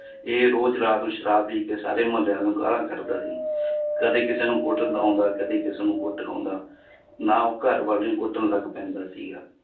ਇਹ ਰੋਜ਼ ਰਾਤ ਨੂੰ ਸ਼ਰਾਬ ਪੀ ਕੇ ਸਾਰੇ ਮੁਹੱਲਿਆਂ ਨੂੰ ਗਾਲਾਂ ਕੱਢਦਾ ਸੀ ਕਦੇ ਕਿਸੇ ਨੂੰ ਕੁੱਟ ਆਉਂਦਾ ਕਦੇ ਕਿਸੇ ਨੂੰ ਕੁੱਟ ਆਉਂਦਾ ਨਾ ਉਹ ਘਰ ਵਾਲੀ ਨੂੰ ਕੁੱਟਣ ਲੱਗ ਪੈਂਦਾ ਸੀਗਾ